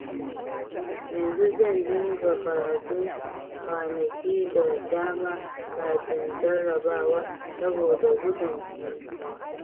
Yanzu zan dinga karatu kwanaki da dama kafin jarrabawa saboda gudun mantuwa